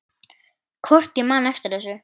Hvort ég man eftir þessu.